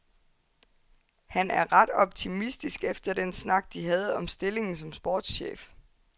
Han er ret optimistisk efter den snak, de havde om stillingen som sportschef.